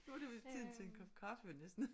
Nu det jo tid til en kop kaffe næsten